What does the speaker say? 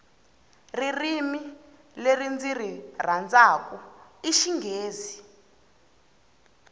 ririmi leri ndziri rhandzaku i xinghezi